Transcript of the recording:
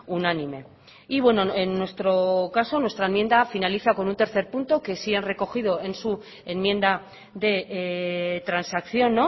unánime y bueno en nuestro caso nuestra enmienda finaliza con un tercer punto que sí han recogido en su enmienda de transacción